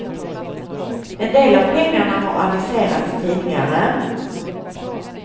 En del av pengarna har aviserats tidigare.